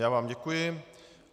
Já vám děkuji.